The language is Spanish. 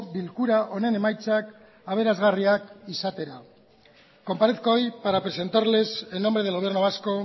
bilkura honen emaitzak aberasgarriak izatea comparezco hoy para presentarles en nombre del gobierno vasco